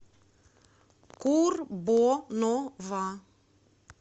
курбонова